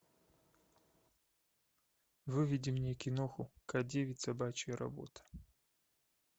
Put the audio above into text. выведи мне киноху к девять собачья работа